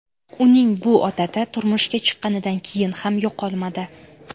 Uning bu odati turmushga chiqqanidan keyin ham yo‘qolmadi.